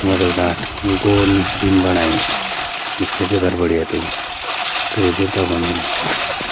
सिमड़ियों डाट गोल बीम बणाई मिस्त्री येफर बढ़िया तो कई देवता वन वलया।